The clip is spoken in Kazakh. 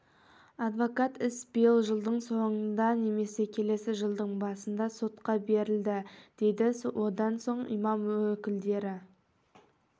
адвокат іс биыл жылдың соңында немесе келесі жылдың басында сотқа беріледі дейді одан соң имам өкілдері